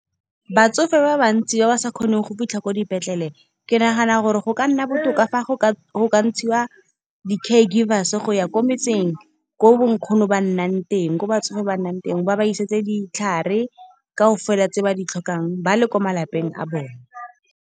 Batsofe ba bantsi ba ba sa kgoneng go fitlha ko dipetlele, ke nagana gore go ka nna botoka fa go ka ntshiwa di-care givers. Go ya kwa metseng ko bo nkgono ba nnang teng, ko batsofe ba nnang ten. Ba ba isetse ditlhare kaofela tse ba di tlhokang, ba le ko malapeng a bone.